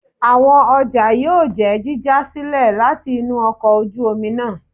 Awọn ọja yóò jẹ jíja silẹ latí inú ọkọ ojú omí náá